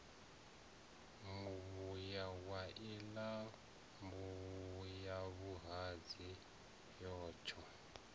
muvhuye wa iḽa mbuyavhuhadzi yatsho